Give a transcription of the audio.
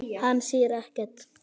Hann sér ekkert.